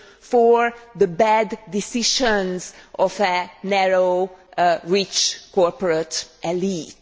for the bad decisions of a narrow, rich corporate elite?